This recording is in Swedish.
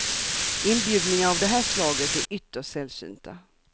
Inbjudningar av det här slaget är ytterst sällsynta.